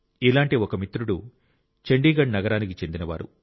ఇలాంటి ఒక మిత్రుడు చండీగఢ్ నగరానికి చెందినవారు